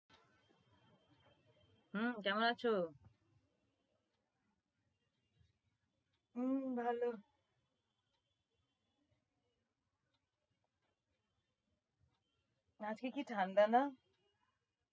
হম কেমন আছো? হম ভালো। আজকে কি ঠাণ্ডা না?